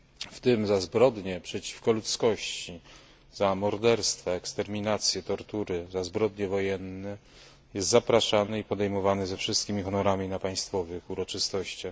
w tym za zbrodnie przeciwko ludzkości, za morderstwa, eksterminacje, tortury i zbrodnie wojenne, był zapraszany i podejmowany ze wszystkimi honorami na państwowych uroczystościach.